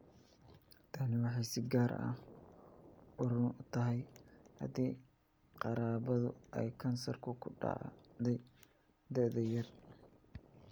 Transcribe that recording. Tani waxay si gaar ah run u tahay haddii qaraabadu uu kansarku ku dhacay da 'yar.